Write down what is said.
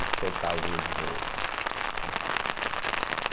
E soltavam ele de novo, né, né.